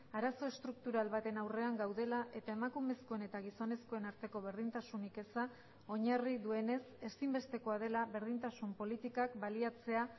arazo estruktural baten aurrean gaudela eta emakumezkoen eta gizonezkoen arteko berdintasunik eza oinarri duenez ezinbestekoa dela berdintasun politikak baliatzea